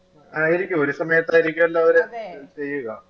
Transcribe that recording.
ആയിരിക്കും ഒരു സമയത്തായിരിക്കുഅല്ലോ അവര് ചെയ്യുക